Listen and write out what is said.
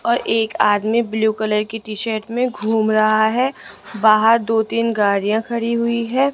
और एक आदमी ब्लू कलर की टी शर्ट में घूम रहा है बाहर दो तीन गाड़ियां खड़ी हुईं है।